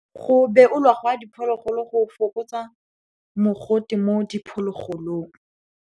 Go beolwa ga diphologolo go fokotsa mogote mo diphologolong.